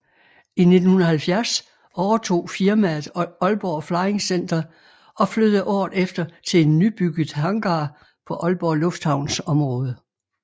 I 1970 overtog firmaet Aalborg Flying Center og flyttede året efter til en nybygget hangar på Aalborg Lufthavns område